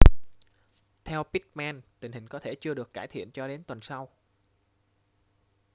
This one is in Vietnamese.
theo pittman tình hình có thể chưa được cải thiện cho đến tuần sau